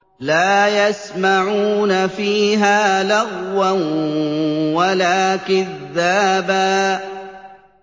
لَّا يَسْمَعُونَ فِيهَا لَغْوًا وَلَا كِذَّابًا